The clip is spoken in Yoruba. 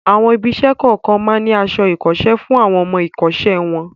Àwọn ibi-iṣẹ́ kọ̀ọ̀kan máa ń ní aṣọ-iṣẹ́ fún àwọn ọmọ-ìkọ́ṣẹ́ wọn.